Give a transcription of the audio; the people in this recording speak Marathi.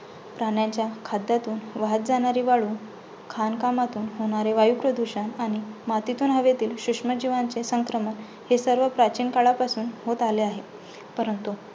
प्राण्याच्या खाद्यातून वाहत जाणारी जाणारी वाळू, खाणकामातून होणारे वायूप्रदूषण आणि मातीतून हवेतील सूक्ष्म जिवाचे संक्रमण हे सर्व प्राचीन काळापासून होत आले आहे. परंतु